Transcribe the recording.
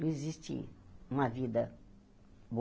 Não existe uma vida